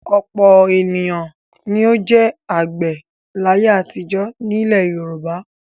Ọ̀pọ̀ ènìyàn ni ó jẹ́ àgbẹ̀ láyé àtijọ́ nílẹ̀ Yorùbá.